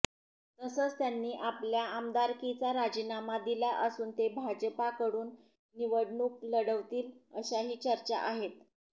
तसंच त्यांनी आपल्या आमदारकीचा राजीनामा दिला असून ते भाजपाकडून निवडणूक लढवतील अशाही चर्चा आहेत